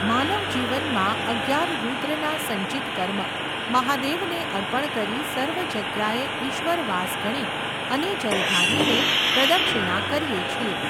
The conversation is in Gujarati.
માનવ જીવનમાં અગિયાર રૂદ્રના સંચિત કર્મ, મહાદેવને અર્પણ કરી સર્વ જગ્યાએ ઈશ્વર વાસ ગણી, અને જલધારી ને પ્રદક્ષિણા કરીએ છીએ.